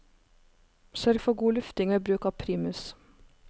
Sørg for god lufting ved bruk av primus.